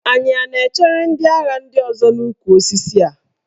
Anyị a na-echere ndị agha ndị ọzọ n'ukwu osisi a?